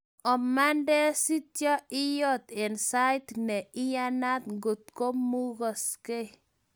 Omande sityo iot eng sait ne iyanat ngo mukoskei